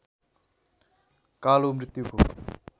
कालो मृत्युको